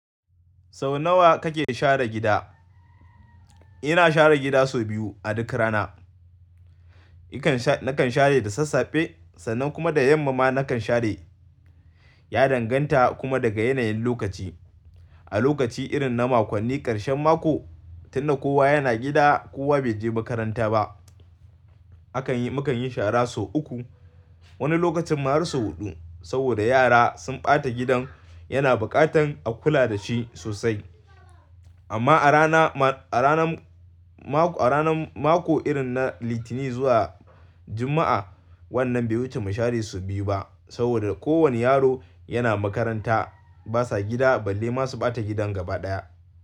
Sau nawa kake share gida? Ina share gida sau biyu a duk rana. Nakan share da sassafe sannan kuma da yammama nakan share. Ya danganta kuma daga yanayin lokaci. A lokaci irin na makonni ƙarshen mako, tun da kowa yana gida, kowa bai je makaranta ba. Akan yi, mu kan yi shara sau uku. Wani lokacin ma har sau huɗu, saboda yara sun ɓata gidan yana buƙatan a kula da shi sosai. Amma a rana ma, a ranan mako, a ranan mako irin na Litinin zuwa Jumma'a, wannan bai wuce mu share sau biyu ba, saboda kowane yaro yana makaranta. Basa gida balle ma su ɓata gidan gaba ɗaya.